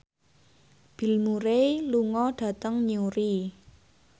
Bill Murray lunga dhateng Newry